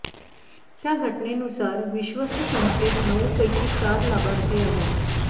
त्या घटनेनुसार विश्वस्त संस्थेत नऊ पैकी चार लाभार्थी आहेत